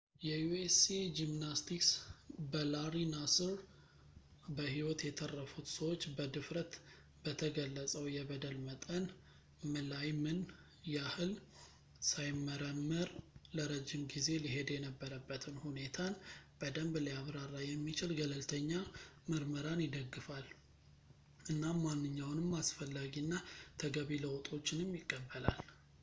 የ usa ጂምናስቲክስ በላሪ ናስር በሕይወት የተረፉት ሰዎች በድፍረት በተገለጸው የበደል መጠን ምላይ ምን ያህል ሳይመረመር ለረጅም ጊዜ ሊሄድ የነበረበትን ሁኔታን በደምብ ሊያብራራ የሚችል ገለልተኛ ምርመራን ይደግፋል እናም ማንኛውንም አስፈላጊ እና ተገቢ ለውጦችንም ይቀበላል